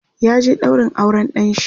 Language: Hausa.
ya je ɗaurin auran ɗanshi